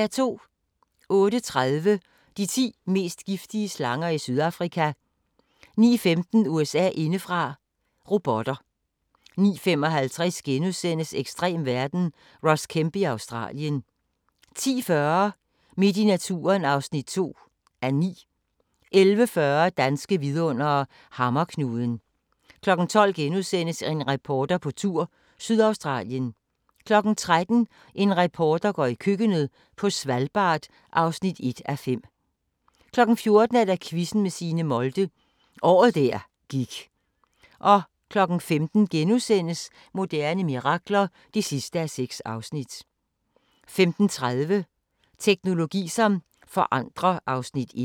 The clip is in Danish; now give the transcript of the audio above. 08:30: De ti mest giftige slanger i Sydafrika 09:15: USA indefra: Robotter 09:55: Ekstrem verden – Ross Kemp i Australien * 10:40: Midt i naturen (2:9) 11:40: Danske vidundere: Hammerknuden 12:00: En reporter på tur – Sydaustralien * 13:00: En reporter går i køkkenet – på Svalbard (1:5) 14:00: Quizzen med Signe Molde – året der gik 15:00: Moderne mirakler (6:6)* 15:30: Teknologi som forandrer (Afs. 1)